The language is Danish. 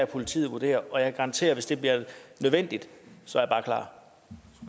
politiet vurdere og jeg kan garantere at hvis det bliver nødvendigt så